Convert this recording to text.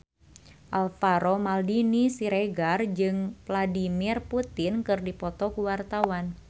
Alvaro Maldini Siregar jeung Vladimir Putin keur dipoto ku wartawan